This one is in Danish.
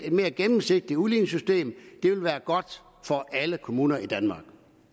mere gennemsigtigt udligningssystem vil være godt for alle kommuner i danmark